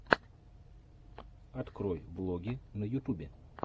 открой влоги на ютубе